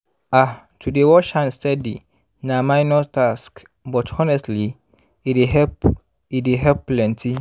ah to dey wash hand steady na minor task but honestly e dey help e dey help plenty